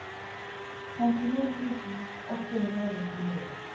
femtini tusen åtte hundre og nittini